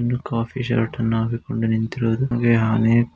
ಇಲ್ಲಿ ಕಾಫಿ ಶರ್ಟ್ ನ ವ್ಯಕ್ತಿ ನಿಂತಿರುವುದು ಹಾಗೆಯೆ ಅನೇಕ